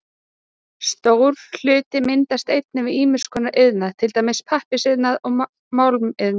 Stór hluti myndast einnig við ýmiss konar iðnað, til dæmis pappírsiðnað og málmiðnað.